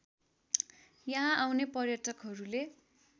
यहाँ आउने पर्यटकहरूले